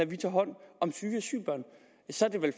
vi tager hånd om syge asylbørn så